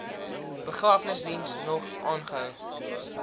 begrafnisdiens nog aangehou